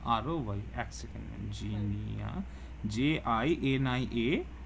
ROY এক second ma'am Jinia যে J I N I A